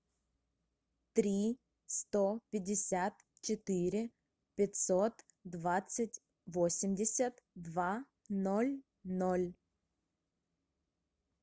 три сто пятьдесят четыре пятьсот двадцать восемьдесят два ноль ноль